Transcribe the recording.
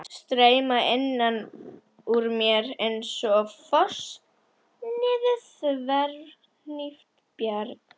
Streyma innan úr mér einsog foss niður þverhnípt bjarg.